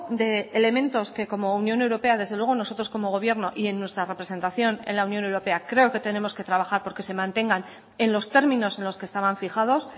de elementos que como unión europea desde luego nosotros como gobierno y en nuestra representación en la unión europea creo que tenemos que trabajar porque se mantengan en los términos en los que estaban fijados